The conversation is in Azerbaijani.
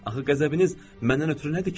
Axı qəzəbiniz məndən ötrü nədir ki?